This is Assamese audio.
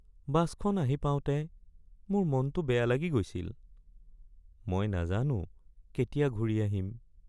বাছখন আহি পাওঁতে মোৰ মনটো বেয়া লাগি গৈছিল। মই নাজানো কেতিয়া ঘূৰি আহিম।